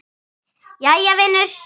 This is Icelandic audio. Jæja vinur.